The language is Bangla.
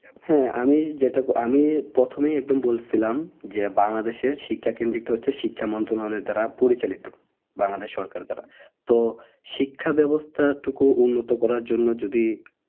হ্যাঁ আমি যেটা আমি প্রথমে একদম বলছিলাম যে বাংলাদেশের শিক্ষা কেন্দ্রিত হচ্ছে বাংলাদেশের শিক্ষা মন্ত্রণালয় দ্বারা পরিচালিত বাংলাদেশ সরকার দ্বারা তো শিক্ষা ব্যাবস্থা টুকু উন্নত করার জন্য যদি